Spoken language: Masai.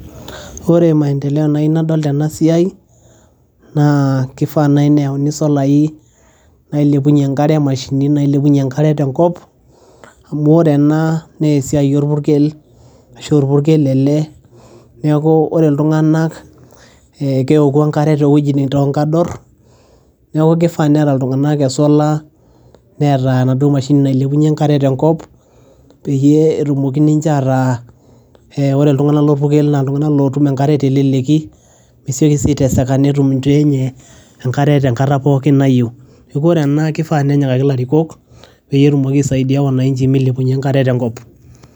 ore maendeleo nayieu nadol tena siai naa kifaa naaji neyauni isolai nailepunyie enkare mashinini nailepounyie enkare tenkop amu ore ena naa esiai orpurkel ashu orpurkel ele neeku ore iltung'anak ee keoku enkare towuejitin, tonkadorr neeku kifaa peete iltung'anak e solar neeta enaduo mashini nailepunyie enkare tenkop peyie etumoki ninche ataa ee ore iltung'anak lorpurkel naa iltung'anak lotum enkare teleleki mesioki sii aiteseka netum inchoo enye enkare tenkata pookin nayieu neeku ore ena kifaa nenyikaki ilarikok peyie etumoki aisaidia wananchi milepunyie enkare tenkop.